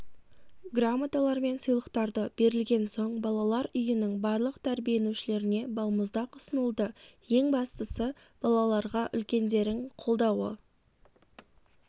грамоталар мен сыйлықтарды берілген соң балалар үйінің барлық тәрбиенушілеріне балмұздақ ұсынылды ең бастысы балаларға үлкендерің қолдауы